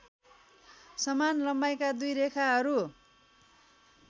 समान लम्बाइका दुई रेखाहरू